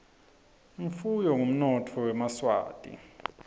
imfuyo ngumnotfo wemaswati